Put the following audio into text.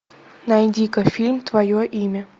найди ка фильм твое имя